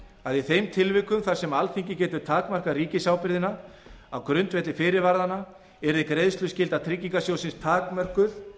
að í þeim tilvikum þar sem alþingi getur takmarkað ríkisábyrgðina á grundvelli fyrirvaranna yrði greiðsluskylda tryggingarsjóðsins takmörkuð